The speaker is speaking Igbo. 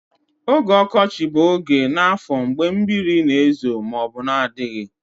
Oge ọkọchị bụ oge n'afọ mgbe mmiri na-ezo ma ọ bụ na-adịghị